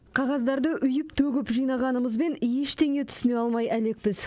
қағаздарды үйіп төгіп жинағанымызбен ештеңе түсіне алмай әлекпіз